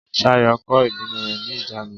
Ṣayọ̀ kò ìbínú rẹ̀ ní ìjánu.